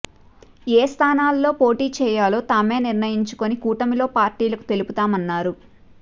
ఏ స్థానాల్లో పోటీ చేయాలో తామే నిర్ణయించుకుని కూటమిలో పార్టీలకు తెలుపుతామన్నారు